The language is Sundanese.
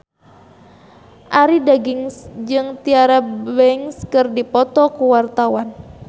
Arie Daginks jeung Tyra Banks keur dipoto ku wartawan